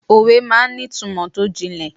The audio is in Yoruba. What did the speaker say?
Òwe máa ń ní ìtumò tó jìnlẹ̀.